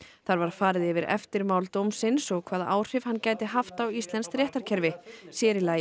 þar var farið yfir eftirmál dómsins og hvaða áhrif hann gæti haft á íslenskt réttarkerfi sér í lagi